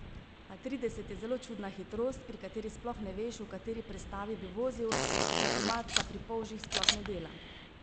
A trideset je zelo čudna hitrost, pri kateri sploh ne veš, v kateri prestavi bi vozil, tempomat pa pri polžih sploh ne dela.